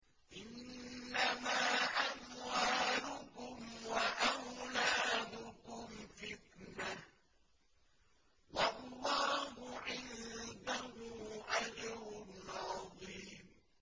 إِنَّمَا أَمْوَالُكُمْ وَأَوْلَادُكُمْ فِتْنَةٌ ۚ وَاللَّهُ عِندَهُ أَجْرٌ عَظِيمٌ